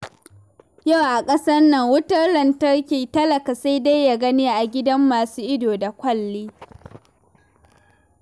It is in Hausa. Yau a ƙasar nan, wutar lantarki talaka sai dai ya gani a gidan masu ido da kwalli.